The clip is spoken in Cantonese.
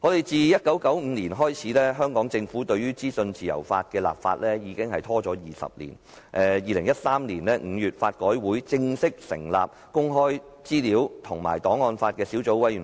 自1995年起，政府對於制定資訊自由法已拖延超過20年，及至2013年5月，法改會正式成立公開資料小組委員會及檔案法小組委員會。